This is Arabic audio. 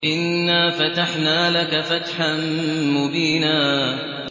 إِنَّا فَتَحْنَا لَكَ فَتْحًا مُّبِينًا